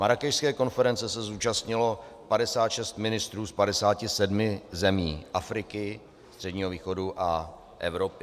Marrákešské konference se zúčastnilo 56 ministrů z 57 zemí Afriky, Středního východu a Evropy.